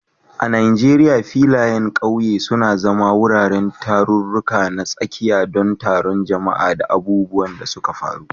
A Najeriya, filayen ƙauye suna zama wuraren tarurruka na tsakiya don taron jama'a da abubuwan da suka faru.